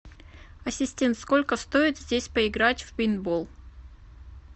ассистент сколько стоит здесь поиграть в пейнтбол